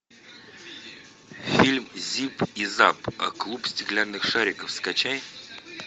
фильм зип и зап клуб стеклянных шариков скачай